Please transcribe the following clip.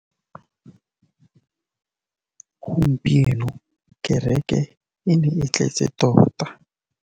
Gompieno kêrêkê e ne e tletse tota.